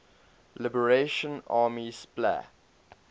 liberation army spla